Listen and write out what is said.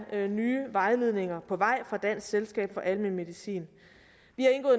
nye vejledninger på vej fra dansk selskab for almen medicin